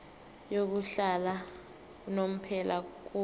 yokuhlala unomphela kubenzi